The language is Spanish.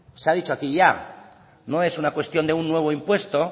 se ha dicho aquí ya no es una cuestión de un nuevo impuesto